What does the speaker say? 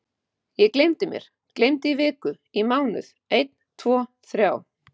Ég gleymdi þér, gleymdi, í viku, í mánuð, einn tvo þrjá.